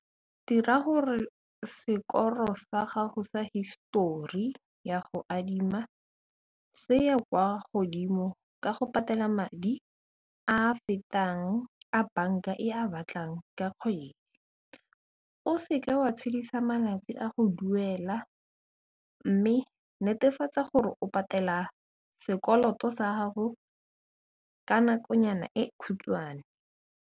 Dira gore sekoro sa gago sa histori ya go adima se ya kwa godimo ka go patela madi a fetang a banka e a batlang ka kgwedi, o seka wa tshedisa malatsi a go duela mme netefatsa gore o patela sekoloto sa gago ka nakonyana e khutshwane.